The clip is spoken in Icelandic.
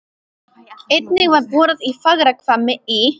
Einnig var borað í Fagrahvammi í